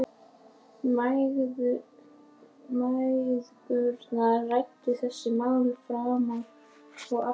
Mæðgurnar ræddu þessi mál fram og aftur.